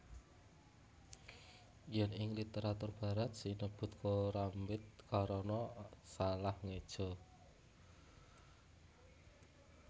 Yén ing literatur barat sinebut korambit karana salah ngéja